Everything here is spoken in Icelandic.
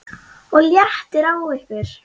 OG LÉTTIR Á YKKUR!